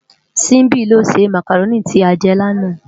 Simbi ló sé mákáróni ti á jè làná